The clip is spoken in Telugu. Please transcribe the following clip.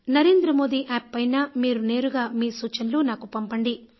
నరేంద్ర మోదీ యాప్ పైన మీరు నేరుగా మీ సూచనలు నాకు పంపండి